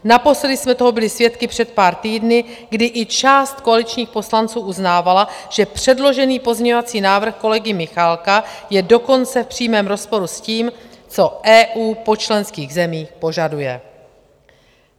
Naposledy jsme toho byli svědky před pár týdny, kdy i část koaličních poslanců uznávala, že předložený pozměňovací návrh kolegy Michálka je dokonce v přímém rozporu s tím, co EU po členských zemích požaduje.